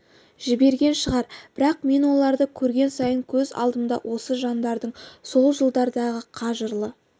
жіберген шығар бірақ мен оларды көрген сайын көз алдымда осы жандардың сол жылдардағы қажырлы